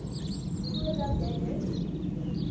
voordat jy dit